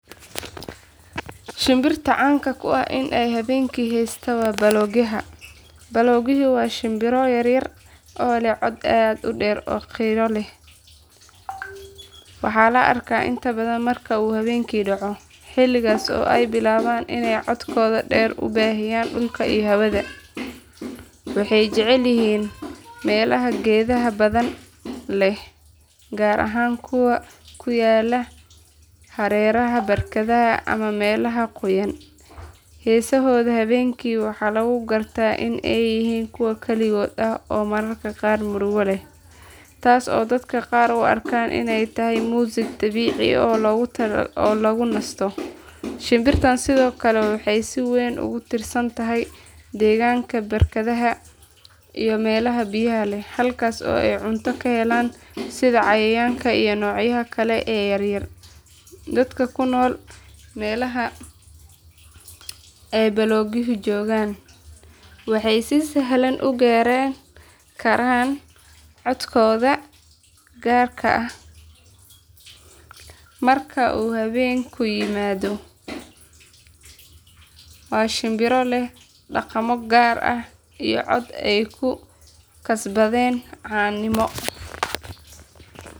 Shimbirta caanka ku ah in ay habeenkii heesta waa baloogyaha. Baloogyuhu waa shimbiro yaryar oo leh cod aad u dheer oo qiiro leh. Waxaa la arkaa inta badan marka uu habeenku dhaco, xilligaas oo ay bilaabaan inay codkooda dheer ku baahiyaan dhulka iyo hawada. Waxay jecel yihiin meelaha geedaha badan leh, gaar ahaan kuwa ku yaalla hareeraha barkadaha ama meelaha qoyan. Heesahooda habeenkii waxaa lagu gartaa in ay yihiin kuwo kaligood ah oo mararka qaar murugo leh, taas oo dadka qaar u arkaan inay tahay muusig dabiici ah oo lagu nasto. Shimbirtan sidoo kale waxay si weyn ugu tiirsan tahay deegaanka barkadaha iyo meelaha biyaha leh, halkaas oo ay cunto ka helaan sida cayayaanka iyo noocyada kale ee yaryar. Dadka ku nool meelaha ay baloogyuhu joogaan waxay si sahlan u garan karaan codkooda gaarka ah marka uu habeenku yimaado. Waa shimbiro leh dhaqamo gaar ah iyo cod ay ku kasbadeen caanimo.